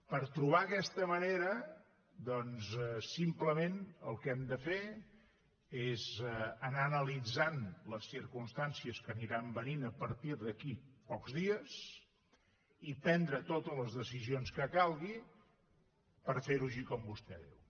per trobar aquesta manera simplement el que hem de fer és anar analitzant les circumstàncies que aniran venint a partir d’aquí a pocs dies i prendre totes les decisions que calguin per fer ho així com vostè diu